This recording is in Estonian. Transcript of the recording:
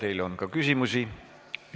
Teile on ka küsimusi.